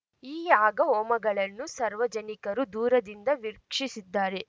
ಈ ಯಾಗ ಹೋಮಗಳನ್ನು ಸರ್ವಜನಿಕರು ದೂರದಿಂದ ವೀಕ್ಷಿಸಿದ್ದಾರೆ